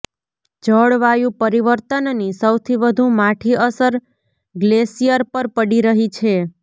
જળવાયુ પરિવર્તનની સૌથી વધુ માઠી અસર ગ્લેશિયર પર પડી રહી છે